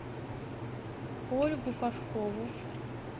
ольгу пашкову